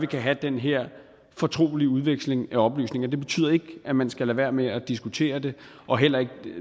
kan have den her fortrolige udveksling af oplysninger det betyder ikke at man skal lade være med at diskutere det og heller ikke